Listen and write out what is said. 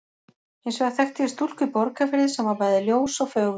Hins vegar þekkti ég stúlku í Borgarfirði sem bæði var ljós og fögur.